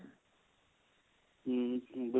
ਹਮ